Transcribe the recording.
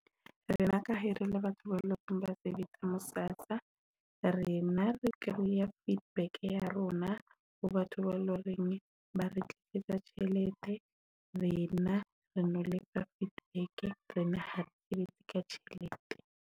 Rona rele batho ba sebetsa mo SASSA rena re kreya feedback ya rona ho batho ba lo reng ba re tlisetsa tjhelete rena re na le ka feedback. Ha ka tjhelete.